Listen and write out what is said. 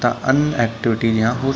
तथा अन्य एक्टिविटीज़ यहाँ हो स --